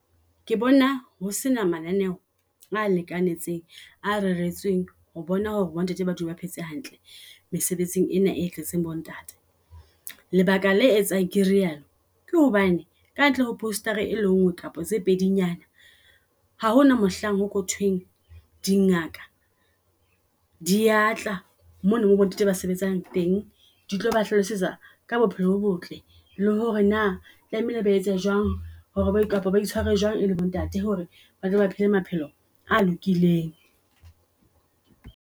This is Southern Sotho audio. Ke bona ho sena mananeo a lekanetseng a reretsweng ho bona hore bo ntate ba batho ba phetse hantle mesebetsing ena e tletseng bo ntate. Lebaka le etsang ke re yalo ke hobane ka ntle ho poster-a e lengwe kapa tse pedinyana ha hona mohlang ho thweng, dingaka di atla mona, mo bonnete ba sebetsang teng di tlo ba hlalosetsa ka bophelo bo botle. Le hore na tlamehile ba etse jwang hore bo kapa ba itshware jwang e le bo ntate hore batho batle ba phele maphelo a lokileng.